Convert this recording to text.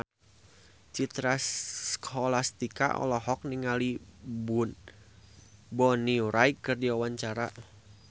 Citra Scholastika olohok ningali Bonnie Wright keur diwawancara